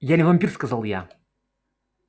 я не вампир сказал я